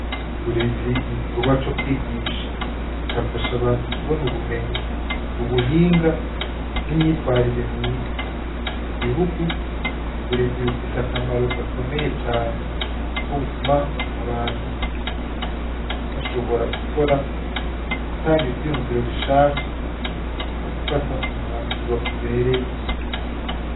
Uburezi n'igikorwa co kwigisha kigafasha abantu kubona ubumenyi, ubuhinga n'imyitwarire myiza ku gihugu uburezi bufise akamaro gakomeye cane kuko butuma abantu bashobora gukora, gutanga ivyiyumviro bishasha no gufata umwanzuro ubereye.